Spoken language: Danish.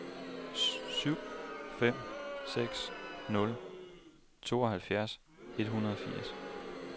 syv fem seks nul tooghalvtreds et hundrede og firs